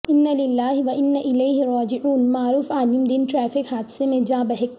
اناللہ واناالیہ راجعون معروف عالم دین ٹریفک حادثے میں جاں بحق